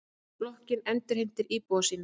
Blokkin endurheimtir íbúa sína.